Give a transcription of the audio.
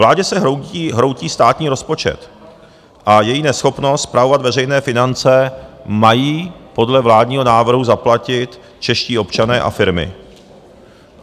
Vládě se hroutí státní rozpočet a její neschopnost spravovat veřejné finance mají podle vládního návrhu zaplatit čeští občané a firmy.